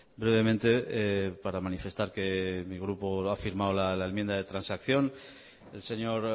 brevemente para manifestar que mi grupo ha firmado la enmienda de transacción el señor